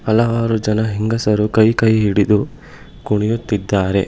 ಹಲವಾರು ಜನ ಹೆಂಗಸರು ಕೈ ಕೈ ಹಿಡಿದು ಕುಣಿಯುತ್ತಿದ್ದಾರೆ.